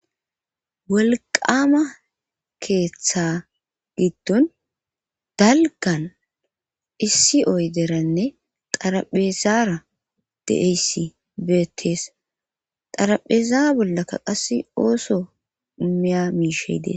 wolqama keeththa giddon dalgan issi oyderanne xaraphezaara de7eyssi beettees xarapheza bollaka qas ooso miya miisheydees